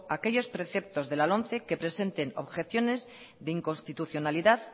aquellos preceptos de la lomce que presenten objeciones de inconstitucionalidad